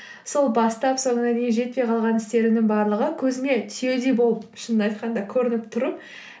сол бастап соңына дейін жетпей қалған істерімнің барлығы көзіме түйедей болып шынымды айтқанды көрініп тұр